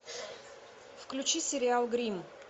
включи сериал гримм